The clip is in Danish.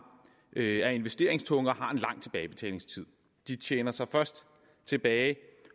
er investeringstunge og har en lang tilbagebetalingstid de tjener sig først tilbage